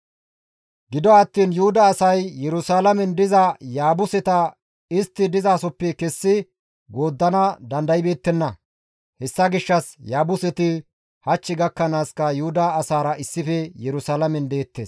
Gido attiin Yuhuda asay Yerusalaamen diza Yaabuseta istti dizasoppe kessi gooddana dandaybeettenna; hessa gishshas Yaabuseti hach gakkanaaska Yuhuda asaara issife Yerusalaamen deettes.